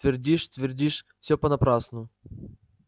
твердишь твердишь всё понапрасну